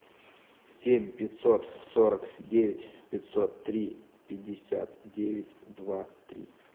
семь пятьсот сорок девять пятьсот три пятьдесят девять два три